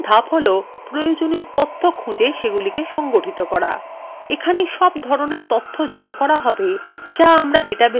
এখানেই সব ধরনের তথ্য জড়ো করা হবে যা আমরা ডাটাবেসের মধ্যে বিভন্ন recordwe রাখতে চাই